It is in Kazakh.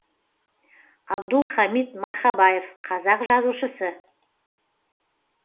абдул хамид мархабаев қазақ жазушысы